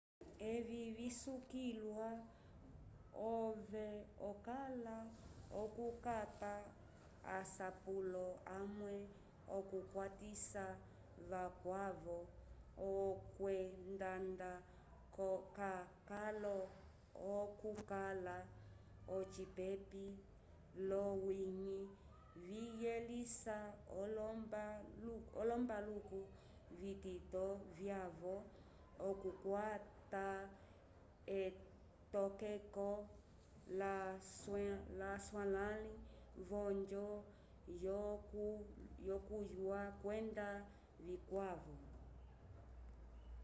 evi visukiliwa ove okala okukapa asapulo amwe okukwatisa vakwavo okwendanda k'akolo okukala ocipepi l'owiñgi viyelisa olombaluku vitito vyavo okukwata etokeko laswalãli v'onjo yokunywa kwenda vikwavo